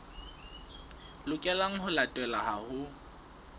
lokelang ho latelwa ha ho